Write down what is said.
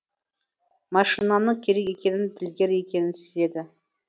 машинаның керек екенін ділгер екенін сезеді